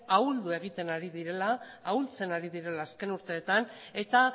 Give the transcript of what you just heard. ahuldu egiten ari direla ahultzen ari direla azken urteetan eta